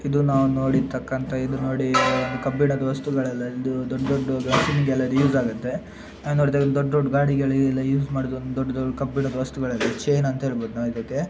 ಇದು ನಾವು ನೋಡಿರತಕಂತ ಇದು ನೋಡೀ ಕಬ್ಬಿಣದ ವಸ್ತುಗಳೇಲಾ ಇದು ದೊಡ್ ದೊಡ್ಡ ಮಷೀನ್ ಗೆಲ ಯೂಸ್ ಆಗುತೇ ನೋಡಿದಾಗ ದೊಡ್ ದೊಡ್ಡ ಗಾಡಿಗಳಿಗೆಲ ಯೂಸ್ ಮಾಡ್ದಿದು ದೊಡ್ ದೊಡ್ಡ ಕಬ್ಬಿಣದ ವಸ್ತುಗಳೇಲಾ ಚೈನ್ ಅಂತ ಎಲ್ಭಾವುದು ನಾವಿದಕೆ .